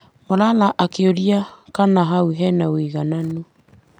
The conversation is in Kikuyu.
Malala akĩũria kana hau harĩ na woigananu.